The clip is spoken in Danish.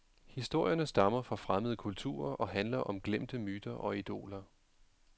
Historierne stammer fra fremmede kulturer og handler om glemte myter og idoler.